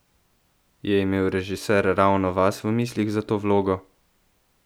Je imel režiser ravno vas v mislih za to vlogo?